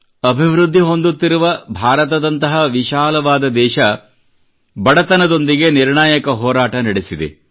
ಅಭಿವೃದ್ಧಿ ಹೊಂದುತ್ತಿರುವ ಭಾರತದಂತಹ ವಿಶಾಲವಾದ ದೇಶ ಬಡತನದೊಂದಿಗೆ ನಿರ್ಣಾಯಕ ಹೋರಾಟ ನಡೆಸಿದೆ